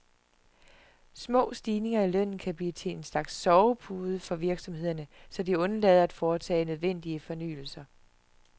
Små stigninger i lønnen kan blive til en slags sovepude for virksomhederne, så de undlader at foretage nødvendige fornyelser.